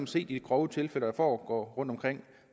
se de grove tilfælde der foregår rundtomkring og